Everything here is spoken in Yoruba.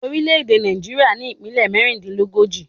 Orílè èdè Nàìjíríà ní Ìpínlẹ̀ mẹ́rìndínlógójì